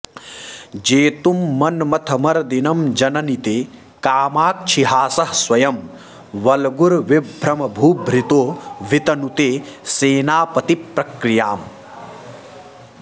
जेतुं मन्मथमर्दिनं जननि ते कामाक्षि हासः स्वयं वल्गुर्विभ्रमभूभृतो वितनुते सेनापतिप्रक्रियाम्